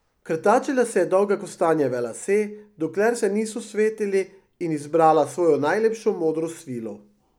Krtačila si je dolge kostanjeve lase, dokler se niso svetili, in izbrala svojo najlepšo modro svilo.